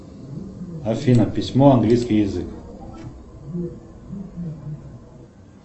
афина письмо английский язык